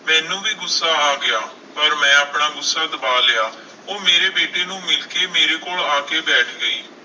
ਮੈਨੂੰ ਵੀ ਗੁੱਸਾ ਆ ਗਿਆ, ਪਰ ਮੈਂ ਆਪਣਾ ਗੁੱਸਾ ਦਬਾ ਲਿਆ, ਉਹ ਮੇਰੇ ਬੇਟੇ ਨੂੰ ਮਿਲ ਕੇ ਮੇਰੇ ਕੋਲ ਆ ਕੇ ਬੈਠ ਗਈ।